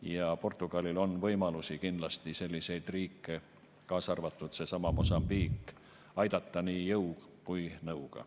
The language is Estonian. Ja Portugalil on võimalusi kindlasti selliseid riike, kaasa arvatud seesama Mosambiik, aidata nii jõu kui ka nõuga.